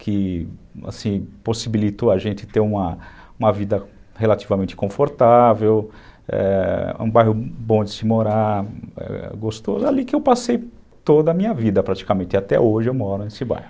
que, assim, possibilitou a gente ter uma vida relativamente confortável, é... um bairro bom de se morar, gostoso, ali que eu passei toda a minha vida praticamente, até hoje eu moro nesse bairro.